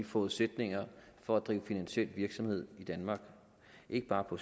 forudsætninger for at drive finansiel virksomhed i danmark ikke bare på